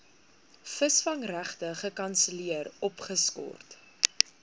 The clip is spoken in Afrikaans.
visvangregte gekanselleer opgeskort